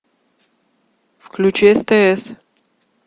включи стс